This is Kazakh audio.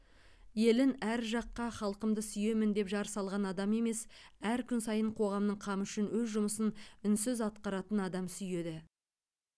елін әр жаққа халқымды сүйемін деп жар салған адам емес әр күн сайын қоғамның қамы үшін өз жұмысын үнсіз атқаратын адам сүйеді